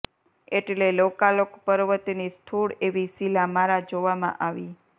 એટલે લોકાલોક પર્વતની સ્થૂળ એવી શિલા મારા જોવામાં આવી